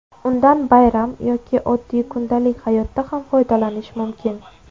Undan bayram yoki oddiy kundalik hayotda ham foydalanish mumkin.